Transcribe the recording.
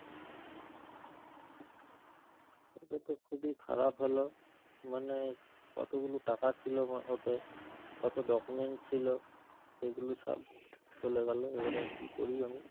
এটা তো খুবই খারাপ হলো, মানে কতগুলো টাকা ছিল আমার ওতে, কত document ছিল, সেগুলো সব চলে গেল। এবারে কি করি আমি?